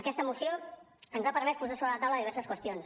aquesta moció ens ha permès posar sobre la taula diverses qüestions